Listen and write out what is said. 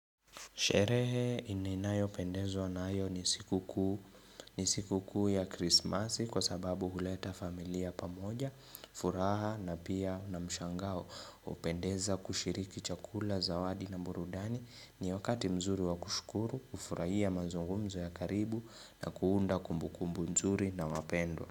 Sherehe ini nayopendezwa nayo ni siku kuu ya krismasi kwa sababu huleta familia pamoja, furaha na pia na mshangao. Hupendeza kushiriki chakula, zawadi na mburudani ni wakati mzuri wa kushkuru, kufurahia mazungumzo ya karibu na kuunda kumbu kumbu nzuri na wapendwa.